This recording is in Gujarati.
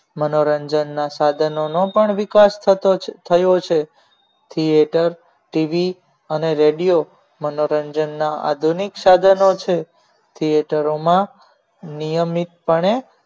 મનોરંજન ના સાધનોનો પણ વિકાસ થતો થયો છે theater tv અને radio મનોરંજનના આધુનિક સાધનો છે theater નિયમિતપણે